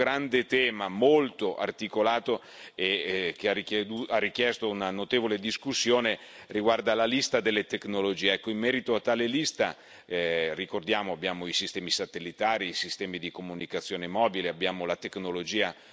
Un altro grande tema molto articolato e che ha richiesto una notevole discussione riguarda la lista delle tecnologie. In merito a tale lista ricordiamo, abbiamo i sistemi satellitari, i sistemi di comunicazione mobile, abbiamo la tecnologia